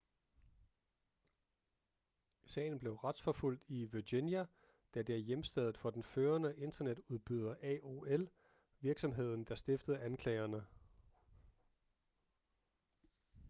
sagen blev retsforfulgt i virginia da det er hjemsted for den førende internetudbyder aol virksomheden der stiftede anklagerne